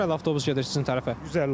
Neçə nömrəli avtobus gedir sizin tərəfə?